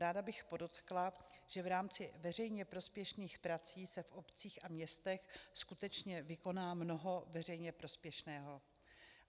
Ráda bych podotkla, že v rámci veřejně prospěšných prací se v obcích a městech skutečně vykoná mnoho veřejně prospěšného.